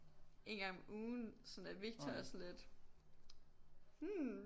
En gang om ugen sådan der Victor er sådan lidt hm